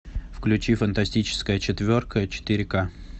включи фантастическая четверка четыре ка